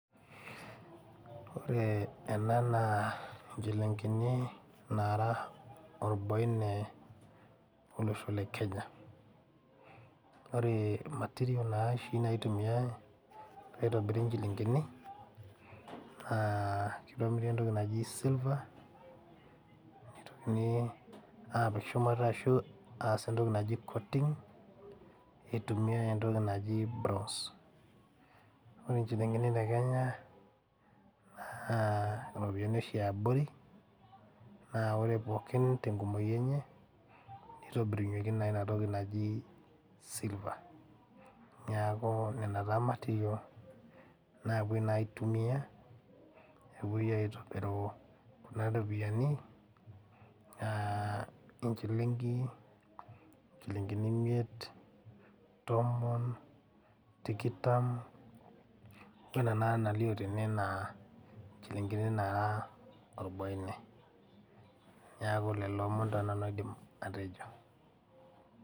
Ore ena naa inchilingini naara orbaine olosho le kenya ore material naa oshi naitumiae peitobiri inchilingini naa kitobiri entoki naji silver nitokini apik shumata ashu aas entoki naji coating eitumiae entoki naji bronze ore inchilingini te kenya naa iropiyiani oshi iabori naa ore pookin tenkumoki enye nitobirunyieki naa inatoki naji silver niaku nena taa material naapuoi naa aitumia epuoi aitobiru kuna ropiyiani uh enchilingi inchilingini imiet tomon tikitam wena naa nalio tene naa inchilingini naara orboine niaku lelo omon taa nanu aidim atejo.